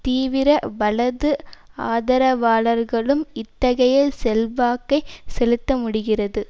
தீவிர வலது ஆதரவாளர்களும் இத்தகைய செல்வாக்கை செலுத்த முடிகிறது